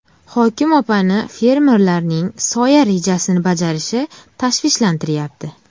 Hokim opani fermerlarning soya rejasini bajarishi tashvishlantiryapti.